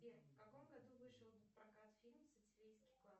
сбер в каком году вышел в прокат фильм сицилийский клад